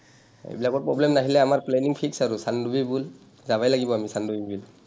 এইবিলাকৰ problem নাহিলে আমাৰ planning fix আৰু চানডুবি বুল যাবাই লাগিব আমি চানডুবি বিল।